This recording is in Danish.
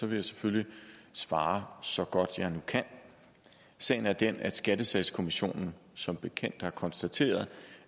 vil jeg selvfølgelig svare så godt jeg nu kan sagen er den at skattesagskommissionen som bekendt har konstateret